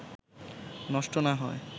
নষ্ট না হয়